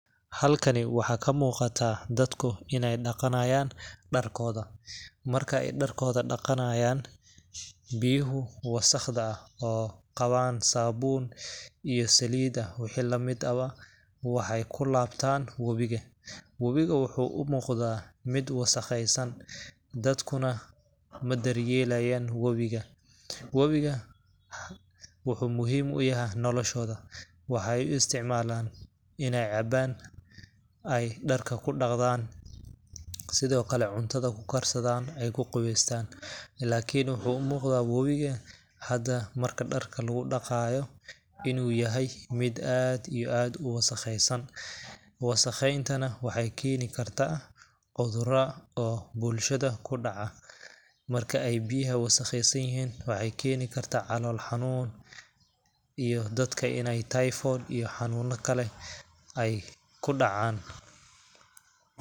Halkani waxaa ka muqataa dadku ineey dhaqanayaan dharkooda .Markey dhaekooda dhaqanayaan ,biyuhu wasakhda ah oo qawaan sabuun iyo salidda iyo wixi lamid eh ba waxeey ku labtaan wabiga. Wabiga waxuu u muqdaa mid wasakheysan ,dadkuna ma daryelayaan wabiga .Wabiga waxuu muhiim u yahay noloshooda ,waxeey u isticmalaan ,ineey cabaan ,ay dharka ku dhaqdaan, sidokale cuntada ku karsadaan, ay ku qabeystaan, ilaakin waxuu u muqdaa wabiga hada marka dharka lagu dhaqaayo inuu yahay mid aad iyo aad u wasakheysan .Wasakheynta na waxeey keeni karta cudurra oo bulshada ku dhaca . Marka ay biyaha wasakheysan yihiin ,waxeey keeni kartaa calool xanuun iyo dadka ineey typhoid iyo xanuuna kale ay ku dhacaan.